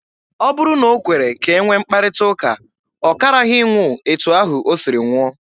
Ọ bụrụ na o kwere ka e nwee mkparịta ụka, ọ karaghị ịnwụ etu ahụ o siri nwụọ.